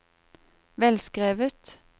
velskrevet